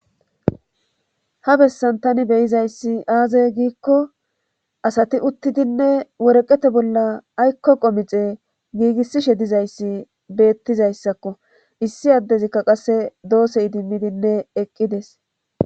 Ha bessan tani beyizayssi aazey giikko asati uttidinne woreqete bolla aykko qomixe giigissishe dizayssi beettizayssakko issi addezikka qasse doosse idimmidinne eqqides.